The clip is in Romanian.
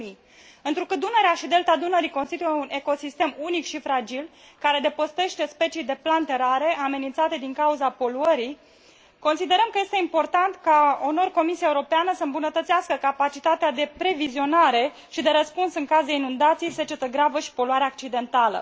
2000. Întrucât Dunărea și Delta Dunării constituie un ecosistem unic și fragil, care adăpostește specii de plante rare, amenințate din cauza poluării, considerăm că este important ca, uneori, Comisia Europeană să îmbunătățească capacitatea de previzionare și de răspuns în caz de inundații, secetă gravă și poluare accidentală.